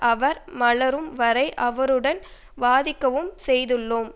அவர் மலரும் வரை அவருடன் வாதிக்கவும் செய்துள்ளோம்